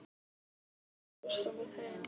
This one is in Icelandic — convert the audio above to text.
Mikkael, ekki fórstu með þeim?